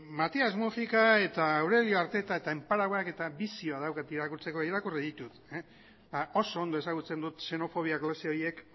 matias múgika eta aurelio arteta eta eta bizio daukat irakurtzeko eta irakurri ditut oso ondo ezagutzen ditut xenofobia klase horiek